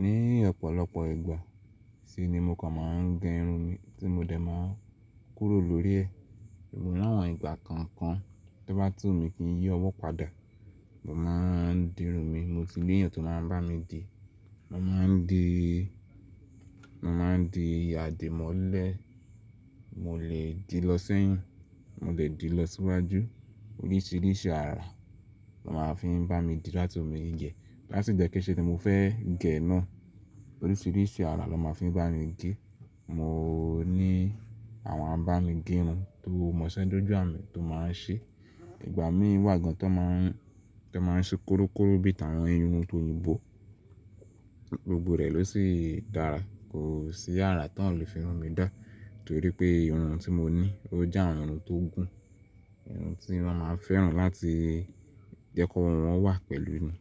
Ni ọ̀pọ̀lọpọ̀ ìgbà sì ni mo kàn máa ń gẹ irun mi tí mo dẹ̀ máa ń kúrò lórí ẹ̀. Ṣùgbọ́n ní àwọn ìgbà kọ̀ọ̀kan tó bá tún wu mi kínyí ọwọ́ padà, mo máa ń di irun mi. Mo ti ní èèyàn tó máa ń bá mi di, mo máa ń di, mo máa ń di adìmọ́lẹ̀, mo lè di lọ sẹ́yìn, mo lè di lọ síwájú, oríṣìíríṣìí àrà ló máa ń fi ń bá mi di láti òmi ìjẹ. Láti ìgbà kẹ́ṣẹ̀ tí mo fẹ́ gẹ̀ ẹ náà, oríṣìíríṣìí àrà ló máa ń fi bá mi gẹ. Mò ní àwọn abámigẹrun tó mọṣẹ́ dójú à mi tó máa ń ṣe. Ìgbà mí wà gan tó máa ń, tó máa ń ṣe kórókóró bí i tàwon irun tó yìnbó, gbogbo rẹ̀ ló sì dára. Kò sí àrà ti won o le fi irun mi dá torí pé irun tí mo ní ó jẹ́ ààrùn tó gùn. Irun tí wọ́n máa ń fẹ́ràn láti jẹ́ kó irun wọn wà pẹ̀lú ni.